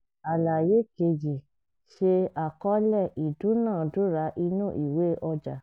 àlàyé kejì ṣe àkọọ́lẹ̀ ìdúnàádúrà inú ìwé ọjà